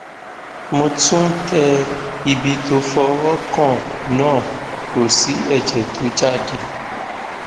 mo tún tẹ ibi tó fọwọ kàn náà kò sì ẹjẹ tó jáde